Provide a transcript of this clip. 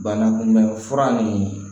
Bana kunbɛn fura nin